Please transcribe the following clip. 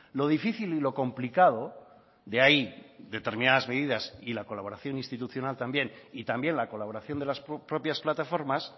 lo difícil y lo complicado de ahí determinadas medidas y la colaboración institucional también y también la colaboración de las propias plataformas